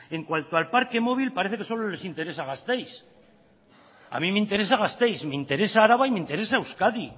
en cuanto al parque móvil parece que solo les interesa gasteiz a mí me interesa gasteiz me interesa araba y me interesa euskadi